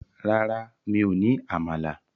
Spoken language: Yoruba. Rárá, mi ò ní àmàlà.